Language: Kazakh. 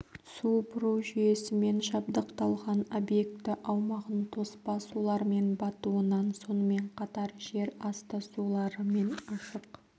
су бұру жүйесімен жабдықталған объекті аумағын тоспа сулармен батуынан сонымен қатар жер асты сулары мен ашық